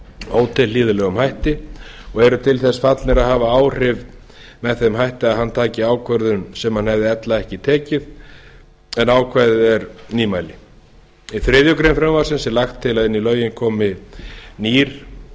ótilhlýðilegum hætti og eru til þess fallnir að hafa áhrif með þeim hætti að hann taki ákvörðun sem hann hefði ella ekki tekið en ákvæðið er nýmæli í þriðju greinar frumvarpsins er lagt til að inn í lögin komi nýr